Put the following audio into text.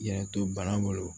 Yɛrɛ to bana bolo